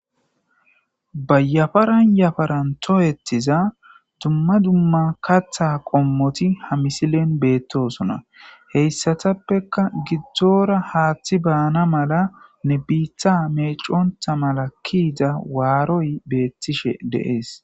bayafaran yafaran toyettiza dumma dumma katha qommoti ha misilen beettosona heyssatappeka gidzdzoora haaththi baana mala ne biitha meeconta mala kiiza waaroy beettishe deees